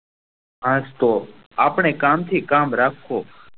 હાસ તો આપળે કામ થી કામ રાખો